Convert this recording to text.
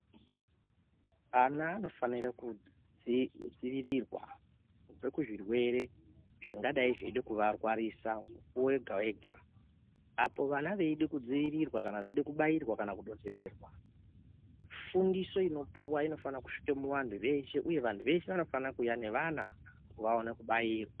Ana anofanire kudzivirirwa kubve kuzvirwere zvingadai zveide kuvarwarisa mukuwo wega-wega. Apo vana veida kudziirirwa kana veide kubairwa kana kudonhedzerwa, fundiso inopuwa inofane kusvika kuvanhu veshe uye vanhu veshe vanofane kuuya nevana kuti vaone kubairwa.